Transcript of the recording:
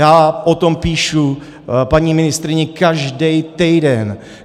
Já o tom píšu paní ministryni každý týden.